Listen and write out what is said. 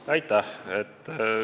Aitäh!